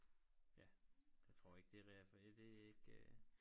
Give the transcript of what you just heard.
Ja jeg tror ikke det det er ikke